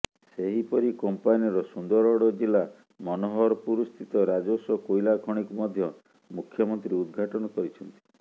ସେହିପରି କମ୍ପାନୀର ସୁନ୍ଦରଗଡ ଜିଲ୍ଲା ମନୋହରପୁରସ୍ଥିତ ନିଜସ୍ୱ କୋଇଲା ଖଣିକୁ ମଧ୍ୟ ମୁଖ୍ୟମନ୍ତ୍ରୀ ଉଦ୍ଘାଟନ କରିଛନ୍ତି